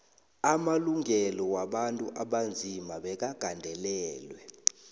amalungelo wabantu abanzima bekagandelelwe